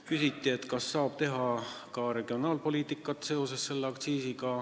Küsiti, kas selle aktsiisiga saab teha ka regionaalpoliitikat.